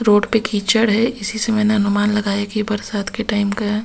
Road पे कीचड़ है इसी से मैंने अनुमान लगाया कि बरसात के टाइम का है।